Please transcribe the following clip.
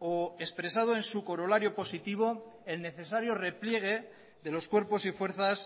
o expresado en su corolario positivo el necesario repliegue de los cuerpos y fuerzas